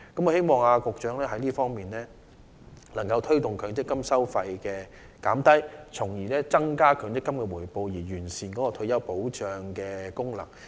我希望局長能夠推動降低強積金收費，從而增加強積金的回報，完善其退休保障功能。